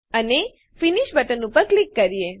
અને finish button ઉપર click કરીએ